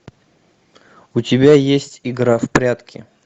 у тебя есть игра в прятки